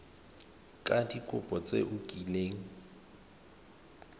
ka dikopo tse o kileng